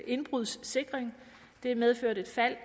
indbrudssikring det har medført et fald